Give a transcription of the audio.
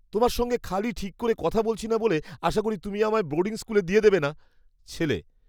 তোমার সঙ্গে খালি ঠিক করে কথা বলছি না বলে আশা করি তুমি আমায় বোর্ডিং স্কুলে দিয়ে দেবে না! (ছেলে)